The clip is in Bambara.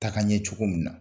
Taka ɲɛ cogo min na